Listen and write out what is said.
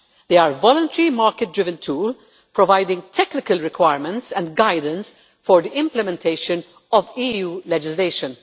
They are a voluntary, market driven tool, providing technical requirements and guidance for the implementation of EU legislation.